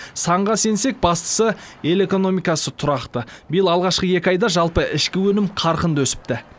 санға сенсек бастысы ел экономикасы тұрақты биыл алғашқы екі айда жалпы ішкі өнім қарқынды өсіпті